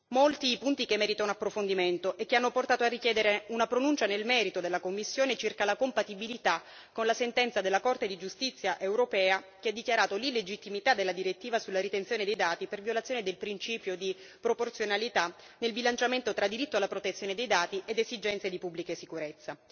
Molti punti che meritano un approfondimento e che hanno portato a richiedere una pronuncia nel merito della Commissione circa la compatibilità con la sentenza della Corte di giustizia europea che ha dichiarato l'illegittimità della direttiva sulla ritenzione dei dati per violazione del principio di proporzionalità nel bilanciamento tra diritto alla protezione dei dati ed esigenze di pubblica sicurezza.